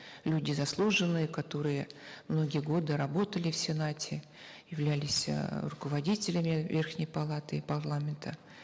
люди заслуженные которые многие годы работали в сенате являлись э руководителями верхней палаты и парламента